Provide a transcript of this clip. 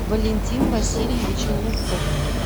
валентин васильевич лупов